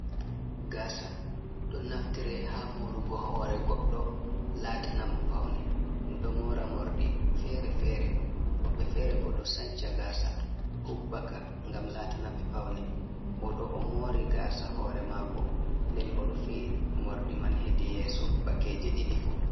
Gasa ɗo naftire ha morugo hore goddo latana mo paune, ɗum ɗo mora morɗi fere-fere, woɓɓe fere bo ɗo sanca gasa hubbaka gam latanaɓe paune, o ɗo o mori gasa hore mako nden o rufi morɗi man hedi yeso bakeje ɗiɗi fu.